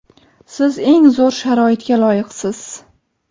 Siz eng zo‘r sharoitga loyiqsiz!.